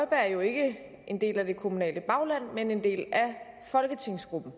er jo ikke en del af det kommunale bagland men en del af folketingsgruppen